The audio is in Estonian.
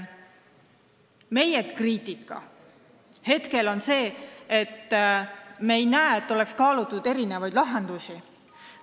Meie kriitika hetkel on see, et me ei näe, et oleks kaalutud erinevaid lahendusi.